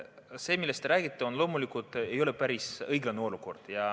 See, millest te räägite, ei ole loomulikult päris õiglane olukord.